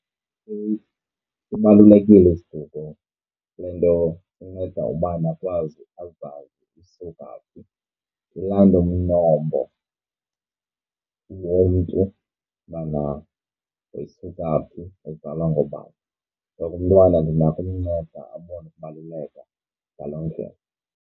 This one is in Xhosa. Sibalulekile isiduko kule nto sinceda ubani akwazi, azazi usuka phi. Ukulanda umnombo womntu ubana wayesuka phi ezalwa ngoobani. So umntwana ndinako ukumnceda abone ukubaluleka ngaloo ndlela.